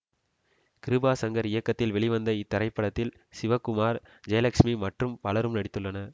கிருபா சங்கர் இயக்கத்தில் வெளிவந்த இத்திரைப்படத்தில் சிவகுமார் ஜெயலக்ஸ்மி மற்றும் பலரும் நடித்துள்ளனர்